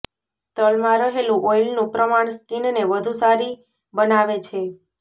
તલમાં રહેલું ઓઈલનું પ્રમાણ સ્કીનને વધુ સારી બનાવે છે